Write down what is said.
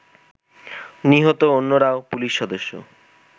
নিহত অন্যরাও পুলিশ সদস্য